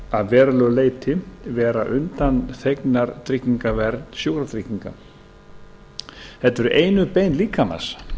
að verulegu leyti vera undanþegnar tryggingavernd sjúkratrygginga þetta eru einu bein líkamans